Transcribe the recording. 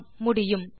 ஆம் முடியும்